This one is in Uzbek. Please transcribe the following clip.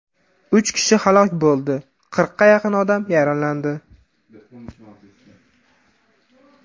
Uch kishi halok bo‘ldi, qirqqa yaqin odam yaralandi.